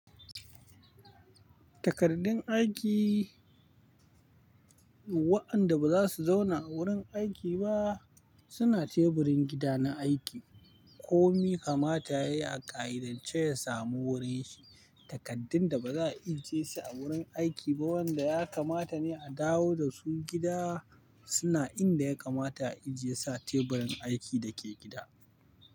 Takardun aiki wa'anda ba za su zauna a wurin aiki ba suna teburin gida na aiki. Komi kamata yayi a ƙa'idance ya samu wurin shi. Takardun da baza a ije su a wurin aiki ba wanda ya kamata ne a dawo da su gida suna inda ya kamata a ijiye sa teburin aiki da ke gida.